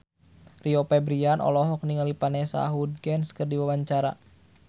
Rio Febrian olohok ningali Vanessa Hudgens keur diwawancara